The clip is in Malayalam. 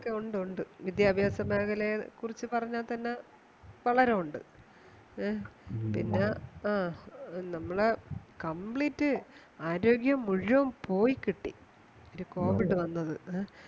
ഉണ്ട് ഉണ്ട് ഉണ്ട് വിദ്യാഭ്യാസമേഖലയെ കുറിച്ച് പറഞ്ഞാ തന്നെ വളരെ ഉണ്ട് പിന്നെ ആ നമ്മളെ complete ആരോഗ്യം മുഴുവൻ പോയി കിട്ടി ഒരു covid വന്നത്